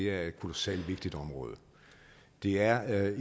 er et kolossalt vigtigt område det er